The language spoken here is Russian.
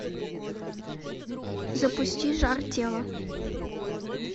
запусти жар тела